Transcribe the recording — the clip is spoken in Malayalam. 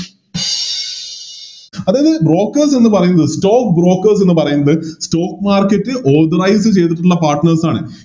അപ്പൊ ഈ Brokers എന്ന് പറയുന്നത് Stock brokers എന്ന് പറയുന്നത് Stock market authorised ചെയ്തിട്ടിള്ള Partners ആണ്